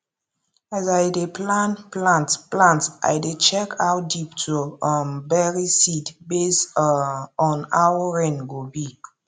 as i dey plan plant plant i dey check how deep to um bury seed based um on how rain go be